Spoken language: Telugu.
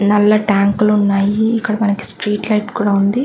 నల్ల టాంకులున్నాయి. ఇక్కడ మనకి స్ట్రీట్ లైట్ కూడా ఉంది.